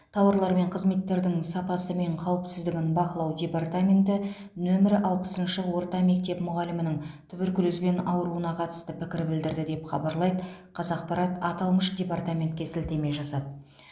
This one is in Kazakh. тауарлар мен қызметтердің сапасы мен қауіпсіздігін бақылау департаменті нөмір алпысыншы орта мектеп мұғалімінің туберкулезбен ауыруына қатысты пікір білдірді деп хабарлайды қазақпарат аталмыш департаментке сілтеме жасап